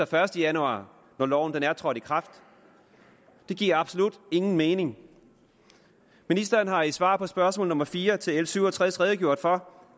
første januar når loven er trådt i kraft det giver absolut ingen mening ministeren har i svaret på spørgsmål nummer fire til l syv og tres redegjort for